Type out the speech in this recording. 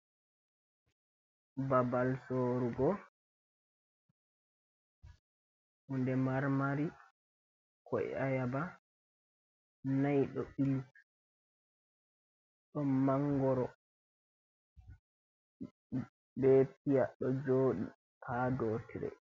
Babal soorugo hunde marmari. Ko'e ayaba nai ɗo ɓili. Ɗon mangoro be piya ɗo joɗi haa dow tire.